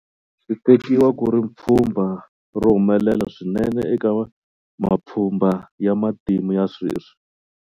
Switekiwa ku ri pfhumba ro humelela swinene eka mapfhumba ya matimu ya sweswi.